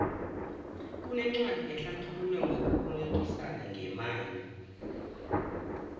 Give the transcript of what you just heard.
kunencwadi ehlathula ngokubolekisana ngemali